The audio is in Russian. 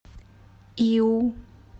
иу